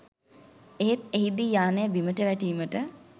එහෙත් එහිදී යානය බිමට වැටීමට